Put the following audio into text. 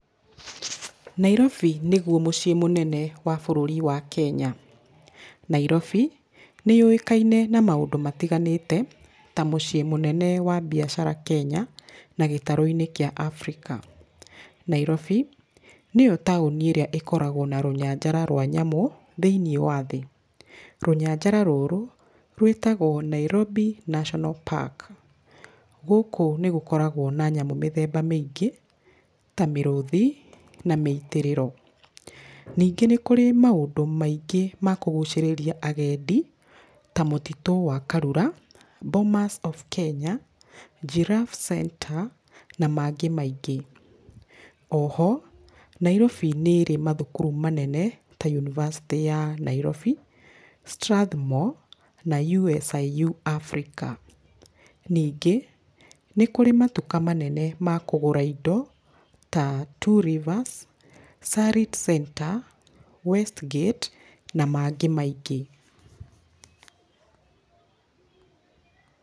Nairobi nĩguo mũciĩ mũnene wa bũrũri wa Kenya. Nairobi nĩyũĩkaine ta mũciĩ mũnene Kenya, na gĩtarũ kĩa Afrika. Nairobi, nĩyo taũni ĩrĩa ĩkoragwo na rũnyanjara rwa nyamũ, thĩiniĩ wa thĩ. Rũnyanjara rũrũ, rwĩtagwo Nairobi National Park. Gũkũ nĩ gũkoragwo na nyamũ mĩthemba mĩingĩ, ta mĩrũthi, a mĩitĩrĩro. Nyingĩ nĩ kũrĩ maũndũ maingĩ ma kũgũcĩrĩria agendi, mũtitũ wa Karura, Bomas of Kenya, Girraffe Centre, na mangĩ maingĩ. O ho, Nairobi nĩ ĩrĩ mathukuru manene, ta University yaNairobi, Strathmore, na USIU Africa. Ningĩ, nĩ kũrĩ matuka manene ma kũgũra indo ta Two Rivers, Sarit Centre, west gate na mangĩ maingĩ.